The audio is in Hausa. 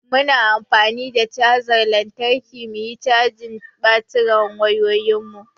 Muna an fani da chajar lantarki muyi cajin batirin wayoyin mu.